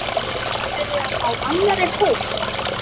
Ertu byrjaður á annarri bók?